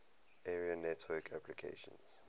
area network applications